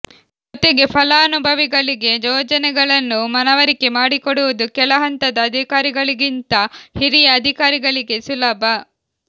ಜೊತೆಗೆ ಫಲಾನುಭವಿಗಳಿಗೆ ಯೋಜನೆಗಳನ್ನು ಮನವರಿಕೆ ಮಾಡಿಕೊಡುವುದು ಕೆಳಹಂತದ ಅಧಿಕಾರಿಗಳಿಗಿಂತ ಹಿರಿಯ ಅಧಿಕಾರಿಗಳಿಗೆ ಸುಲಭ